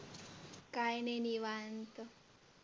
काही नाही निवांत.